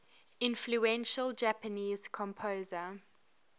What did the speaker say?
influential japanese composer